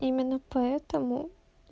именно поэтому